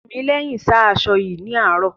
Tìmílẹ́hìn sá aṣọ yín ní àárò.